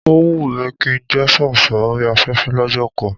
Ó wùn mí kí n jẹ́ sọ̀rọ̀sọ̀rọ̀ orí afẹ́fẹ́ lọ́jọ́ kan